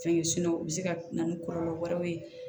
Fɛn kɛ o bɛ se ka na ni kɔlɔlɔ wɛrɛw ye